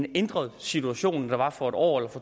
en ændret situation der var for en år eller